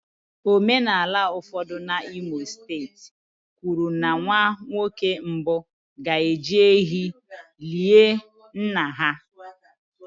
Omenala ụfọdụ n'Imo steeti kwuru na nwa nwoke mbụ ga-eji ehi lie nna ha